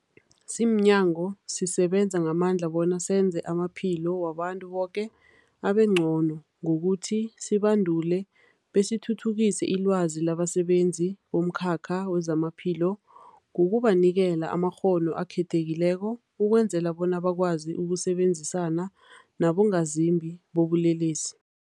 Simnyango, sisebenza ngamandla bona senze amaphilo wabantu boke abengcono ngokuthi sibandule besithuthukise ilwazi labasebenzi bomkhakha wezamaphilo ngokubanikela amakghono akhethekileko ukwenzela bona bakwazi ukusebenzisana nabongazimbi bobulelesi.